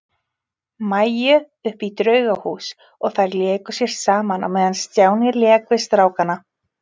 Maju upp í Draugahús og þær léku sér saman á meðan Stjáni lék við strákana.